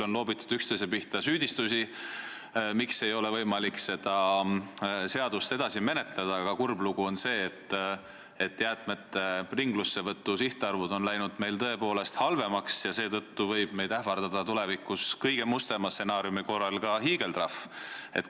On loobitud üksteise pihta süüdistusi, miks ei ole võimalik seda seadust edasi menetleda, aga kurb on see, et jäätmete ringlussevõtu arvud on läinud meil tõepoolest halvemaks ja seetõttu võib meid tulevikus kõige mustema stsenaariumi korral ähvardada ka hiigeltrahv.